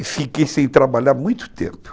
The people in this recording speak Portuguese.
E fiquei sem trabalhar muito tempo.